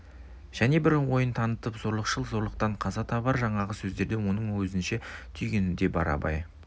және бір ойын танытып зорлықшыл зорлықтан қаза табар жаңағы сөздерден оның өзінше түйгені де бар абай